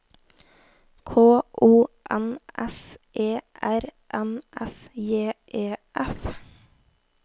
K O N S E R N S J E F